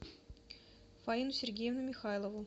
фаину сергеевну михайлову